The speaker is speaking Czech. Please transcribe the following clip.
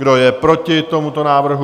Kdo je proti tomuto návrhu?